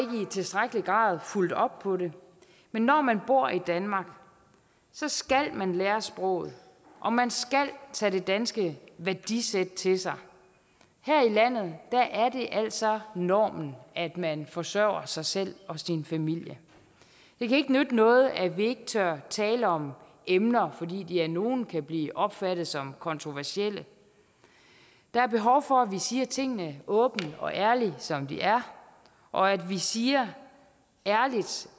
tilstrækkelig grad fulgt op på det men når man bor i danmark skal man lære sproget og man skal tage det danske værdisæt til sig her i landet er det altså normen at man forsørger sig selv og sin familie det kan ikke nytte noget at vi ikke tør tale om emner fordi de af nogle kan blive opfattet som kontroversielle der er behov for at vi siger tingene åbent og ærligt som de er og at vi siger ærligt